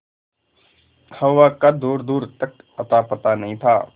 हवा का दूरदूर तक अतापता नहीं था